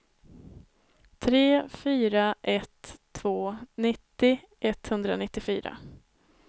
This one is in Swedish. tre fyra ett två nittio etthundranittiofyra